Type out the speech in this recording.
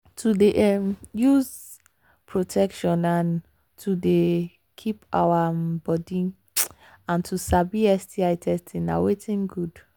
to they um use protection and um to they keep our um body and to sabi sti testing na watin good